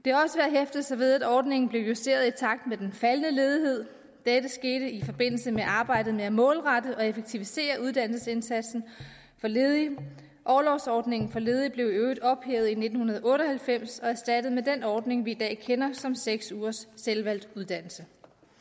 hæfte sig ved at ordningen blev justeret i takt med den faldende ledighed dette skete i forbindelse med arbejdet med at målrette og effektivisere uddannelsesindsatsen for ledige orlovsordningen for ledige blev i øvrigt ophævet i nitten otte og halvfems og erstattet af den ordning vi i dag kender som seks ugers selvvalgt uddannelse